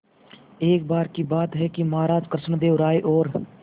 एक बार की बात है कि महाराज कृष्णदेव राय और